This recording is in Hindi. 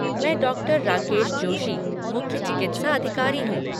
मैं डॉ. राकेश जोशी, मुख्य चिकित्सा अधिकारी हूँ।